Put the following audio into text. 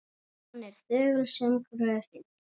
Hann er þögull sem gröfin.